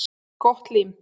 Gott lím.